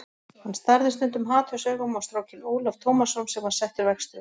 Hann starði stundum hatursaugum á strákinn Ólaf Tómasson sem var settur verkstjóri.